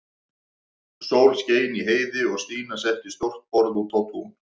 Sól skein í heiði og Stína setti stórt borð út á tún.